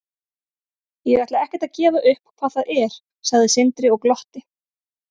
Ég ætla ekkert að gefa upp hvað það er, sagði Sindri og glotti.